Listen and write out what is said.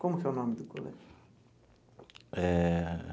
Como que é o nome do colégio? Eh.